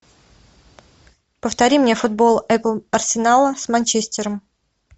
повтори мне футбол апл арсенала с манчестером